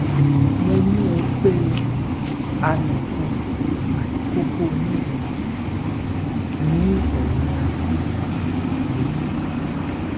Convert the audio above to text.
mo ni ogbe anofun ati koko onidun ni eyin ahan mi mi